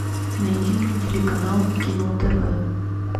найди мне телеканал кино тв